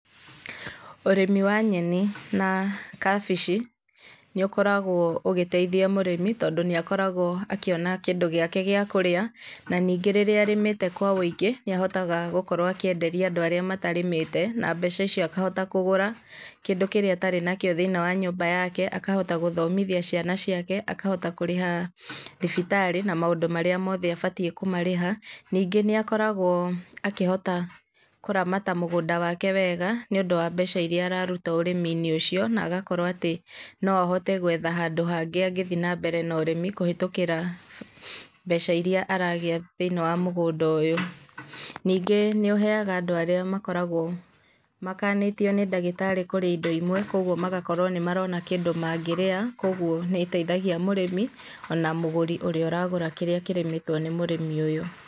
Ũrĩmi wa nyeni na kabici nĩũkoragwo ũgĩteithia mũrĩmi tondũ nĩakoragwo akĩona kĩndũ gĩake gĩa kũrĩa, na nĩngĩ rĩrĩa arĩmĩte kwa ũingĩ, nĩahotaga gũkorwo akĩenderia andũ arĩa matarĩmĩte, na mbeca icio akahota kũgũra kĩndũ kĩrĩa atarĩ nakio thĩinĩ wa nyũmba yake, akahota gũthomithia ciana ciake, akahota kũrĩha thibitarĩ na maũndũ marĩa mothe abatiĩ kũmarĩha. Ningĩ nĩakoragwo akĩhota kũramata mũgũnda wake wega nĩũndũ wa mbeca iria ararũta ũrĩmi-inĩ ũcio na agakorwo atĩ noahote gwetha handũ hangĩ angĩthiĩ na mbere na ũrĩmi kũhetũkĩra mbeca iria aragĩa thĩinĩ wa mũgũnda ũyũ. Ningĩ nĩũheaga andũ arĩa makoragwo makanĩtio nĩ ndagĩtarĩ kurĩa indo imwe kwoguo magakorwo nĩmarona kĩndũ mangĩrĩa kwoguo nĩiteithagia mũrĩmi ona mũgũri ũrĩa ũragũra kĩrĩa kĩrĩmĩtwo nĩ mũrĩmi ũyũ.